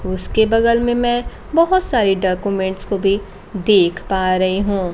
उसके बगल में मैं बहोत सारी डाक्यूमेंन्ट्स को भी देख पा रही हूँ।